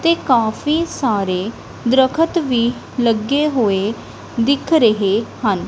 ਤੇ ਕਾਫੀ ਸਾਰੇ ਦਰੱਖਤ ਵੀ ਲੱਗੇ ਹੋਏ ਦਿੱਖ ਰਹੇ ਹਨ।